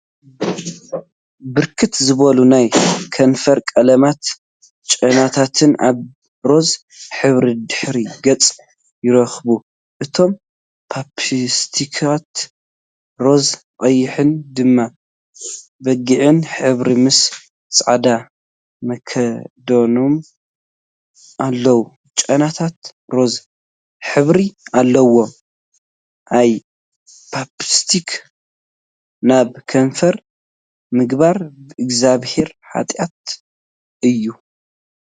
ብርክት ዝበሉ ናይ ከንፈር ቀለማትን ጨናታትን አብ ሮዛ ሕብሪ ድሕረ ገፅ ይርከቡ፡፡ እቶም ፓፕስቲካት ሮዛ፣ ቀይሕን ደም በጊዕን ሕብሪ ምሰ ፃዕዳ መክደኖም አለው፡፡ ጨናታት ሮዛ ሕብሪ አለዎም፡፡ አይ! ፓፕስቲክ ናብ ከንፈርካ ምግባር ብእግዚአብሄር ሓጥያት እዩ፡፡